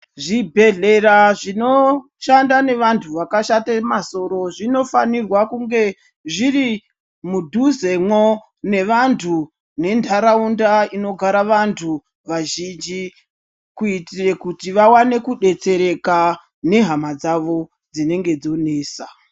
Zvibhehlera zvinoshanda nevantu vakashate masoro zvinofanirwa kunge zviri mudhuzemwo nevantu nentaraundanda inogara vantu vazhinji kuitira kuti vaone kudetsereka nehama dzavo dzinenge dzonesa.